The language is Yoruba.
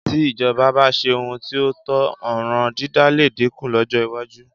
Tí ìjọba bá ṣe ohun tí ó tọ́, ọ̀ràn dídá lè dínkù lọ́jọ́ iwájú